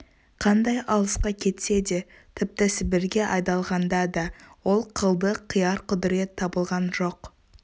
қандай алысқа кетсе де тіпті сібірге айдалғанда да ол қылды қияр құдірет табылған жоқ